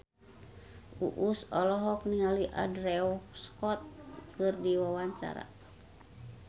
Uus olohok ningali Andrew Scott keur diwawancara